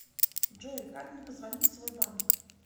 джой как мне позвонить в свой банк